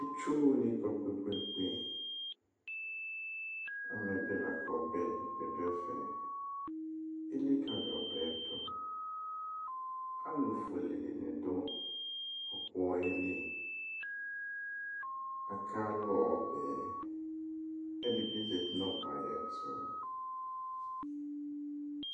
Itsu wani kɔ kpekpekpe, amɛ bɩ lakʋ ɔbɛ dibɩ dʋ ɛfɛ, elikǝli ɔbɛ yɛ dʋ Alufue dini dʋ ɔkpɔwa yɛ li, akalʋ ɔbɛ yɛ, kʋ ɛdɩ bɩ zǝti nʋ ɔbɛ yɛ tʋ